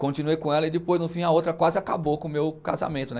Continuei com ela e depois, no fim, a outra quase acabou com o meu casamento, né?